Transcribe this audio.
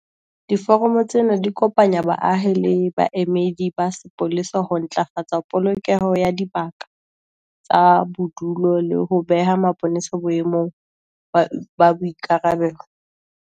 Diforamo tsena di kopanya baahi le baemedi ba sepolesa ho ntlafatsa polokeho ya dibaka tsa bodulo le ho beha mapolesa boemong ba boikarabelo.